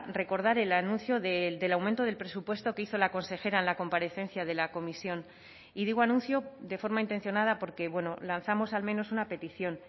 recordar el anuncio del aumento del presupuesto que hizo la consejera en la comparecencia de la comisión y digo anuncio de forma intencionada porque bueno lanzamos al menos una petición